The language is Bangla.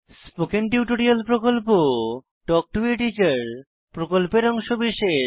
স্পোকেন টিউটোরিয়াল প্রকল্প তাল্ক টো a টিচার প্রকল্পের অংশবিশেষ